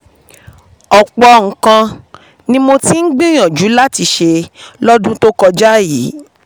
ọ̀pọ̀ nǹkan ni mo ti um mo ti um gbìyànjú láti ṣe láwọn ọdún tó kọjá yìí